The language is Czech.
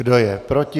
Kdo je proti?